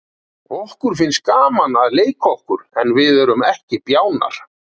Okkur finnst gaman að leika okkur en við erum ekki bjánar.